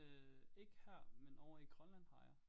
Øh ikke her men ovre i Grønland har jeg